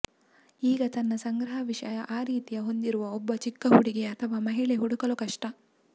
ಈಗ ತನ್ನ ಸಂಗ್ರಹ ವಿಷಯ ಆ ರೀತಿಯ ಹೊಂದಿರುವ ಒಬ್ಬ ಚಿಕ್ಕ ಹುಡುಗಿ ಅಥವಾ ಮಹಿಳೆ ಹುಡುಕಲು ಕಷ್ಟ